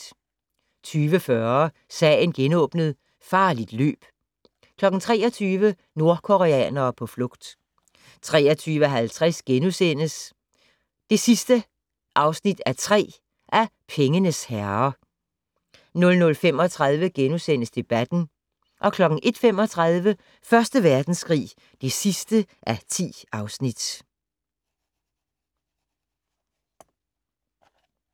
20:40: Sagen genåbnet: Farligt løb 23:00: Nordkoreanere på flugt 23:50: Pengenes herrer (3:3)* 00:35: Debatten * 01:35: Første Verdenskrig (10:10)